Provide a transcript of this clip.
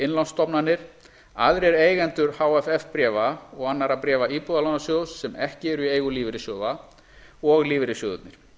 innlánsstofnanir aðrir eigendur hff bréfa og annarra bréfa íbúðalánasjóðs sem ekki eru í eigu lífeyrissjóða og lífeyrissjóðirnir